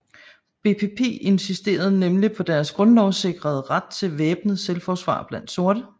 BPP insisterede nemlig på deres grundlovssikrede ret til væbnet selvforsvar blandt sorte